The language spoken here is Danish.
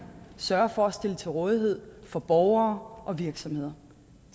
sørger for at stille til rådighed for borgere og virksomheder